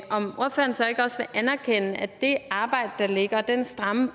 om ordføreren så ikke også vil anerkende at det arbejde der ligger og den stramme